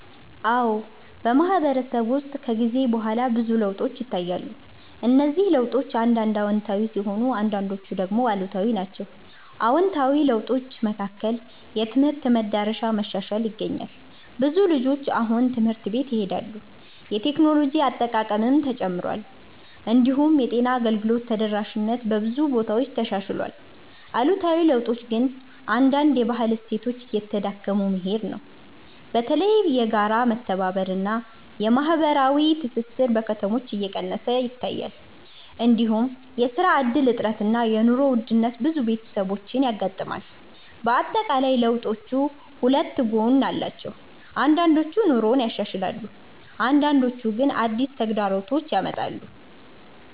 አዎ፣ በማህበረሰብ ውስጥ ከጊዜ በኋላ ብዙ ለውጦች ይታያሉ። እነዚህ ለውጦች አንዳንድ አዎንታዊ ሲሆኑ አንዳንዶቹ ደግሞ አሉታዊ ናቸው። አዎንታዊ ለውጦች መካከል የትምህርት መዳረሻ መሻሻል ይገኛል። ብዙ ልጆች አሁን ትምህርት ቤት ይሄዳሉ፣ የቴክኖሎጂ አጠቃቀምም ተጨምሯል። እንዲሁም የጤና አገልግሎት ተደራሽነት በብዙ ቦታዎች ተሻሽሏል። አሉታዊ ለውጦች ግን አንዳንድ የባህል እሴቶች እየተዳከሙ መሄድ ነው። በተለይ የጋራ መተባበር እና የማህበራዊ ትስስር በከተሞች እየቀነሰ ይታያል። እንዲሁም የስራ እድል እጥረት እና የኑሮ ውድነት ብዙ ቤተሰቦችን ያጋጥማል። በአጠቃላይ ለውጦቹ ሁለት ጎን አላቸው፤ አንዳንዶቹ ኑሮን ያሻሽላሉ አንዳንዶቹ ግን አዲስ ተግዳሮቶች ያመጣሉ።